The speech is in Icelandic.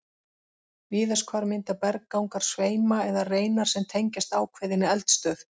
Víðast hvar mynda berggangar sveima eða reinar sem tengjast ákveðinni eldstöð.